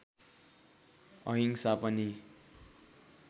अहिंसा पनि